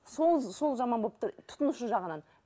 сол сол жаман болып тұр тұтынушы жағынан